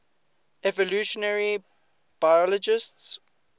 evolutionary biologists